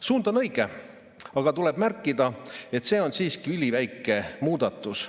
Suund on õige, aga tuleb märkida, et see on siiski üliväike muudatus.